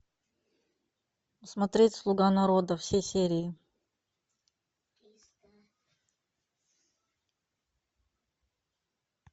смотреть слуга народа все серии